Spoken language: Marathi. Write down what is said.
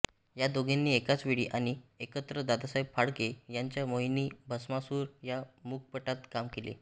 या दोघींनी एकाच वेळी आणि एकत्र दादासाहेब फाळके यांच्या मोहिनी भस्मासुर या मूकपटात काम केले